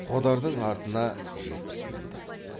қодардың артына жетпіс мінді